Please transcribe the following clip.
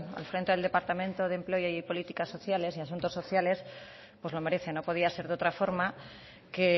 al frente del departamento de empleo y políticas sociales y asuntos sociales pues lo merece no podía ser de otra forma que